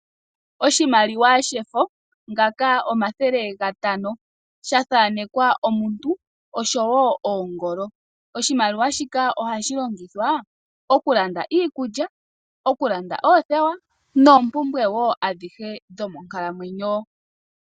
Oshimaliwa shefo shomathele shomayovi gatano, sha thaanekwa omuntu osho woo oongolo, oshimaliwa ohashi longithwa okulanda iikulya, oothewa noompumbwe woo adhihe dhomonkalamwenyo.